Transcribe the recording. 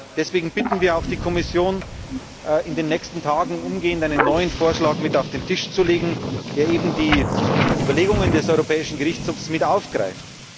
Deswegen bitten wir auch die Kommission, in den nächsten Tagen umgehend einen neuen Vorschlag auf den Tisch zu legen, der eben die Überlegungen des Europäischen Gerichtshofs mit aufgreift.